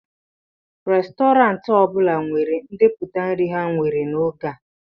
Restọrantị ọ bụla nwere ndepụta nri ha nwere n'oge a